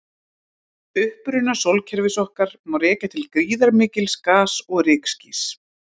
Uppruna sólkerfis okkar má rekja til gríðarmikils gas- og rykskýs.